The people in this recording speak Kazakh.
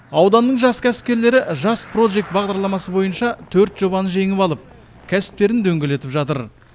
ауданның жас кәсіпкерлері жас прожект бағдарламасы бойынша төрт жобаны жеңіп алып кәсіптерін дөңгелетіп жатыр